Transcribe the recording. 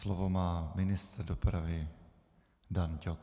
Slovo má ministr dopravy Daň Ťok.